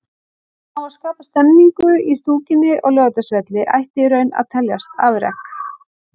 Að ná að skapa stemningu í stúkunni á Laugardalsvelli ætti í raun að teljast afrek.